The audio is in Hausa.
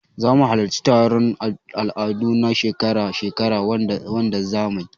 Zamu halarci taron al'adu na shekara-shekarar wanzamai.